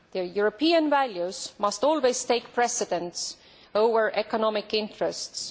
European values must always take precedence over economic interests.